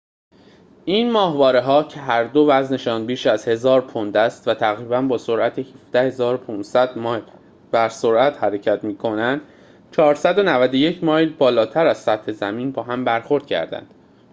این ماهواره‌ها که هر دو وزن‌شان بیش از 1000 پوند است و تقریباً با سرعت 17،500 مایل بر ساعت حرکت می‌کنند، 491 مایل بالاتر از سطح زمین با هم برخورد کردند